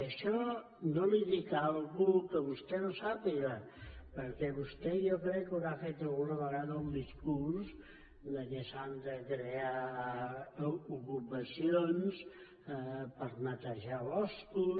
i amb això no li dic una cosa que vostè no sàpiga perquè vostè jo crec que haurà fet alguna vegada el discurs que s’han de crear ocupacions per netejar boscos